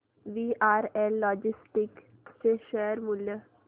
VRL logistics चे share मूल्य